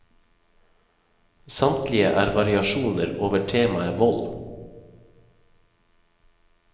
Samtlige er variasjoner over temaet vold.